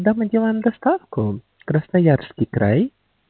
да мы делаем доставку красноярский край